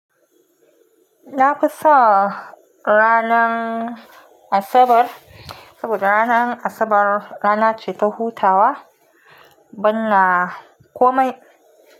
Na fi son ranan Asabar, saboda ranan Asabar rana ce ta hutawa ban na komai.